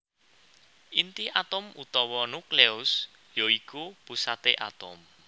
Inti atom utawa nukleus ya iku pusaté atom